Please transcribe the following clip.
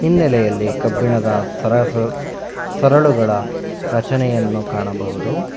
ಹಿನ್ನೆಲೆಯಲ್ಲಿ ಕಬ್ಬಿಣದ ಸರಳುಗಳ ರಚನೆಯನ್ನು ಕಾಣಬಹುದು.